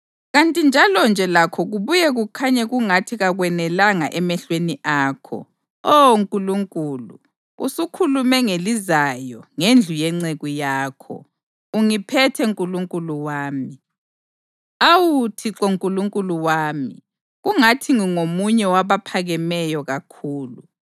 Kanti njalonje lakho kubuye kukhanye kungathi kakwenelanga emehlweni akho, Oh Nkulunkulu, usukhulume ngelizayo ngendlu yenceku yakho. Ungiphethe Nkulunkulu wami, awu Thixo Nkulunkulu wami, kungathi ngingomunye wabaphakemeyo kakhulu.